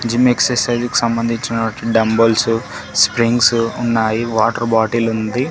Gym exercise కి సంబంధించినటువంటి dumbbells springs ఉన్నాయి వాటర్ బాటిల్ ఉంది.